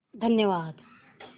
धन्यवाद